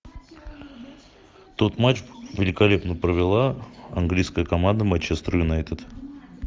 тот матч великолепно провела английская команда манчестер юнайтед